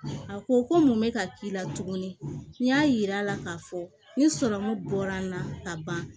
A ko ko mun bɛ ka k'i la tugun n y'a yir'a la k'a fɔ ni bɔra n na ka ban